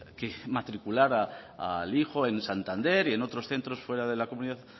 que matriculara al hijo en santander y en otros centros fuera de la comunidad